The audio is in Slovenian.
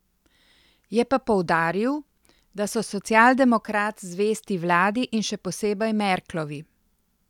Je pa poudaril, da so socialdemokrat zvesti vladi in še posebej Merklovi.